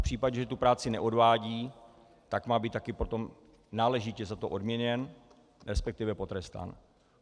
V případě, že tu práci neodvádí, tak má být také potom náležitě za to odměněn, respektive potrestán.